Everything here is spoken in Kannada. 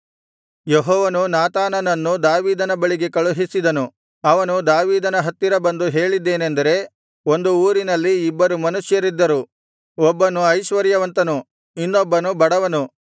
ಯೆಹೋವನು ನಾತಾನನನ್ನು ದಾವೀದನ ಬಳಿಗೆ ಕಳುಹಿಸಿದನು ಅವನು ದಾವೀದನ ಹತ್ತಿರ ಬಂದು ಹೇಳಿದ್ದೇನೆಂದರೆ ಒಂದು ಊರಿನಲ್ಲಿ ಇಬ್ಬರು ಮನುಷ್ಯರಿದ್ದರು ಒಬ್ಬನು ಐಶ್ವರ್ಯವಂತನು ಇನ್ನೊಬ್ಬನು ಬಡವನು